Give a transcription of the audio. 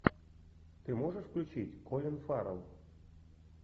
ты можешь включить колин фаррелл